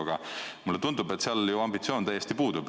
Aga mulle tundub, et seal ju ambitsioon täiesti puudub.